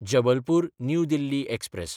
Jabalpur New Delhi express